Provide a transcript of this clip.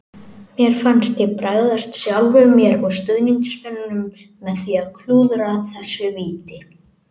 Mér fannst ég bregðast sjálfum mér og stuðningsmönnunum með því að klúðra þessu víti.